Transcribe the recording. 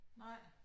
Nej